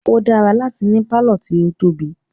O dára láti ní pálọ̀ tí o tóbi.